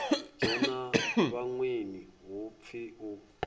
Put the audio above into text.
dzhena vhaṅweni hu pfi u